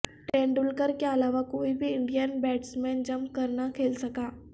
تندولکر کے علاوہ کوئی بھی انڈین بیٹسمین جم کر نہ کھیل سکا